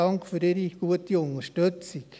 Dank für Ihre gute Unterstützung!